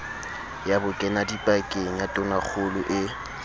ya bokenadipakeng ya tonakgolo e